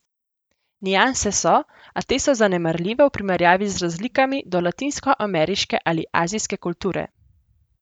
Nianse so, a te so zanemarljive v primerjavi z razlikami do latinskoameriške ali azijske kulture.